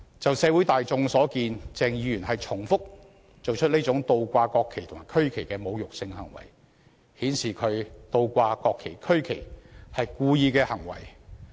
按社會大眾所見，鄭議員重複做出這種倒掛國旗和區旗的侮辱性行為，顯示他倒掛國旗和區旗是故意的行為。